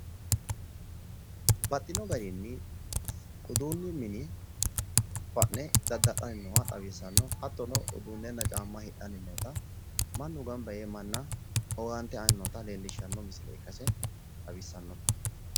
baxxino garinni uduunnu mine fa'ne dadda'lanni no xawissanno hatttono, uduunnenna caamma hidhanni nootta mannu gamab yee manna owaante aanni leellishshanno misile ikkase xawissanno.